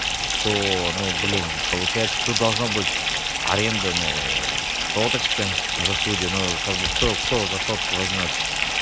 то ну блин получается тут должно быть аренда ну соточка за студию но как бы кто кто за сотку возьмёт